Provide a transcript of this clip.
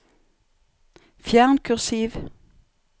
Fjern kursiv